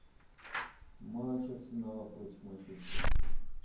матч арсенала против манчестера